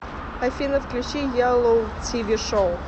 афина включи еллу ти ви шоу